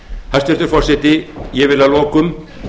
hæstvirtur forseti ég vil að lokum